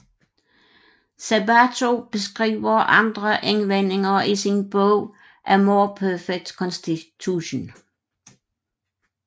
Sabato beskriver andre indvendinger i sin bog A More Perfect Constitution